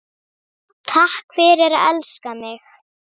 Takk fyrir að elska mig.